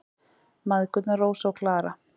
Mæðgurnar, Rósa og Klara.